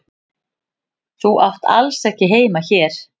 Þú átt alls ekki heima hér.